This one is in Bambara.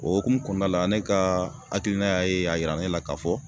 O hukumu kɔnɔna la ne ka hakilina y'a ye a yira ne la k'a fɔ